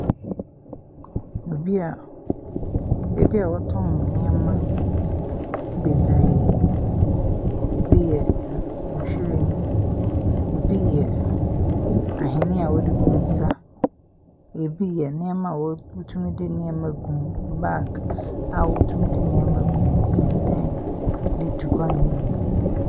Obi a ɔtɔn nneɛma bebree. Ebi yɛ nhwiren, ebi yɛ ahweneɛ a wɔde gu wɔn nsa, ebi yɛ nneɛma a wotumi de nneɛma gu mu, baag a wotumi de nneɛma gu mu, kɛntɛn de tu kwan a eye yie.